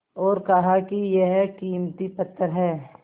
और कहा कि यह कीमती पत्थर है